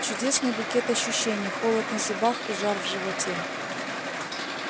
чудесный букет ощущений холод на зубах и жар в животе